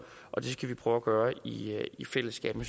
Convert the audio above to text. og det skal vi prøve at gøre i fællesskab men